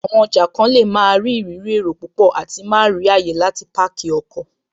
Àwọn ọjà kan lè máa rí ìrírí èrò púpọ̀ àti má rí ààyè láti páàkì ọkọ̀